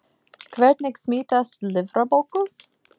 Hvernig smitast lifrarbólga?